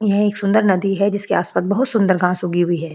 यह एक सुंदर नदी है जिसके आसपास बहुत सुंदर घांस उगी हुई है।